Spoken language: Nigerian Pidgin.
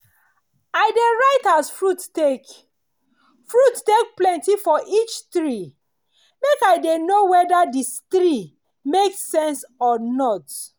i dey write as fruit take fruit take plenty for each tree make i dey know wede di tree make sense or not.